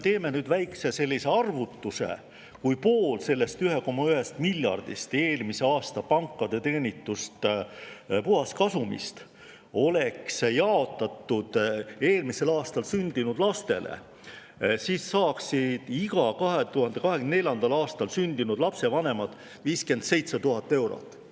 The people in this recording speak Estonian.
Teeme väikese arvutuse: kui pool sellest pankade eelmise aasta puhaskasumist, sellest 1,1 miljardist oleks jaotatud eelmisel aastal sündinud lastele, siis oleks iga 2024. aastal sündinud lapse vanemad saanud 57 000 eurot.